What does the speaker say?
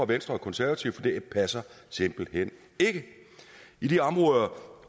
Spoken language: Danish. venstre og konservative for det passer simpelt hen ikke i de områder